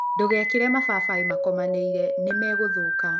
Ndũgekĩre mababaĩ makomanĩire nĩmegũthũka.